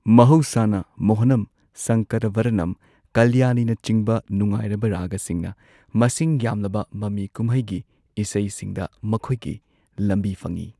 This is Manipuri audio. ꯃꯍꯧꯁꯥꯅ, ꯃꯣꯍꯥꯅꯝ, ꯁꯪꯀꯥꯔꯥꯚꯥꯔꯥꯅꯝ, ꯀꯜꯌꯥꯅꯤꯅꯆꯤꯡꯕ ꯅꯨꯉꯥꯏꯔꯕ ꯔꯥꯒꯁꯤꯡꯅ ꯃꯁꯤꯡ ꯌꯥꯝꯂꯕ ꯃꯃꯤ ꯀꯨꯝꯍꯩꯒꯤ ꯏꯁꯩꯁꯤꯡꯗ ꯃꯈꯣꯏꯒꯤ ꯂꯝꯕꯤ ꯐꯪꯏ꯫